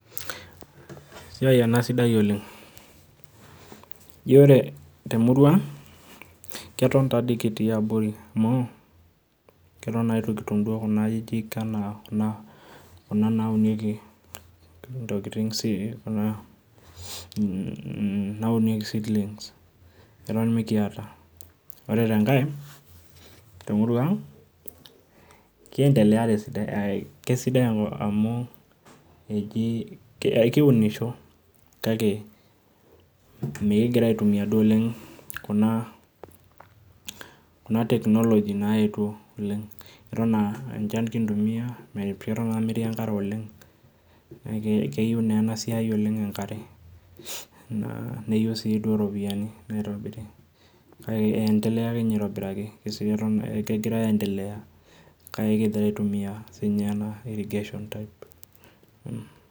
Esiai ena sidai oleng. Ji ore temurua ang, keton tadi kitii abori amu, keton na itu kitum duo kuna ajijik enaa kuna naunieki intokiting, naunieki seedlings, eton mikiata. Ore tenkae, temurua ang, kiendelea tesidai kesidai amu eji ekiunisho, kake, mikigira aitumia inaduo oleng kuna, kuna technology naetuo oleng. Eton ah enchan kintumia, eton naa metii enkare oleng, keyieu naa enasiai oleng enkare. Neyieu si duo ropiyiani naitobiri. Kake eendelea akenye aitobiraki, kegira aendelea kake kigira aitumia sinye ena irrigation type.